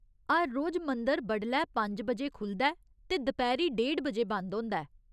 हर रोज मंदर बडलै पंज बजे खु'लदा ऐ ते दपैह्‌री डेढ़ बजे बंद होंदा ऐ।